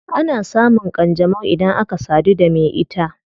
Ana samun kanjanau idan aka sadu da me ita